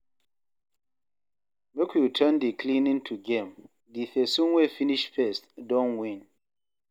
Make we turn di cleaning to game, di pesin wey finish first don win.